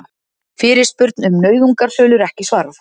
Fyrirspurn um nauðungarsölur ekki svarað